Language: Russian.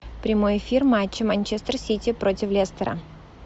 прямой эфир матча манчестер сити против лестера